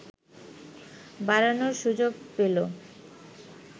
বাড়ানোর সুযোগ পেল